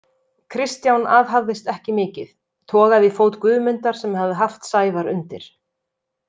Kristján aðhafðist ekki mikið, togaði í fót Guðmundar sem hafði haft Sævar undir.